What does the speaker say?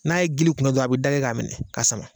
N'a ye gili kun don, a bɛ da kɛ k'a minɛ ka sama